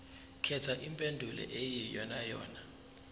khetha impendulo eyiyonayona